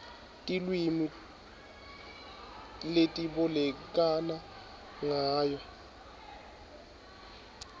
tilwimi letibolekana ngayo